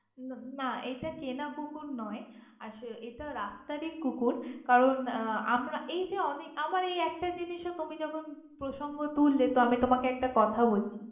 তাইনা! না এইটা কেনা কুকুর নয় আসলে রাস্তারই কুকুর। কারন আমারা এই যে এইকে আমারা অনেক একটা জিনিস প্রসঙ্গ তুললে তো তোমাকে একটা কথা বলি।